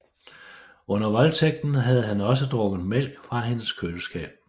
Under voldtægten havde han også drukket mælk fra hendes køleskab